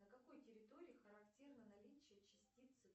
на какой территории характерно наличие частицы